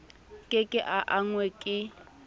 ke ke a angwa ke